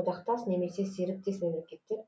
одақтас немесе серіктес мемлекеттер